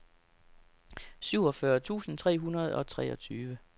syvogfyrre tusind tre hundrede og treogtyve